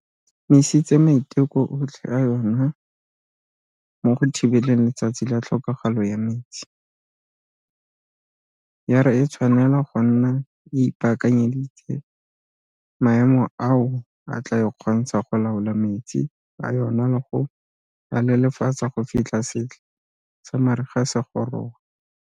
misitse maiteko otlhe a yona mo go thibeleng Letsatsi la Tlhokagalo ya Metsi, ya re e tshwanela go nna e ipaakanyeditse maemo ao a tla e kgontshang go laola metsi a yona le go a lelefatsa go fitlha setlha sa mariga se goroga.